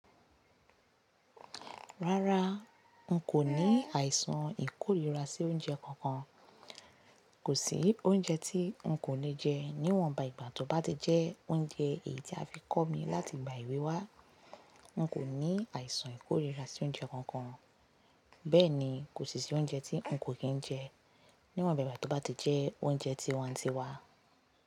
Rárá, n kò ní àìsàn ìkóríra sí oúnjẹ kankan. Kò sí oúnjẹ tí n kò lè jẹ, níwọn ba ìgbà tó bá ti jẹ́ oúnjẹ èyí tí a fi kọ́ mi láti ìgbà èwe wa. N kò ní àìsàn ìkóríra sí oúnjẹ kankan. Bẹ́ẹ̀ ni, kò sí i oúnjẹ tí n kò kì í jẹ níwọn bà igba tó bá ti jẹ́ oúnjẹ tí wa ti wá.